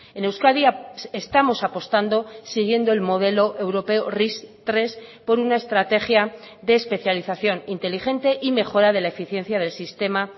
en euskadi estamos apostando siguiendo el modelo europeo ris tres por una estrategia de especialización inteligente y mejora de la eficiencia del sistema